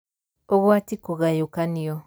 Ũgwati kũgayũkanio: